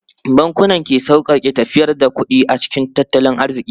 Bankunan ke sauƙaƙe tafiyar da kuɗi a cikin tattalin arziki.